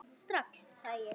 Strax, sagði ég.